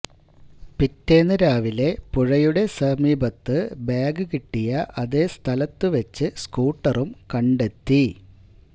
പിറ്റേന്ന് രാവിലെ പുഴയുടെ സമീപത്ത് ബാഗ് കിട്ടിയ അതേ സ്ഥലത്തുവച്ച് സ്കൂട്ടറും കണ്ടെത്തി